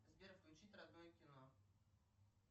сбер включить родное кино